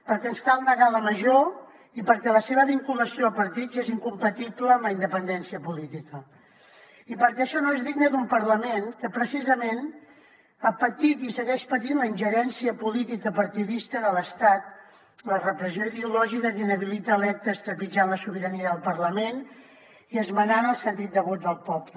perquè ens cal negar la major i perquè la seva vinculació a partits és incompatible amb la independència política i perquè això no és digne d’un parlament que precisament ha patit i segueix patint la ingerència política partidista de l’estat la repressió ideològica que inhabilita electes trepitjant la sobirania del parlament i esmenant el sentit de vot del poble